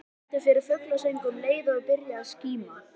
Þau lentu við fuglasöng um leið og byrjaði að skíma.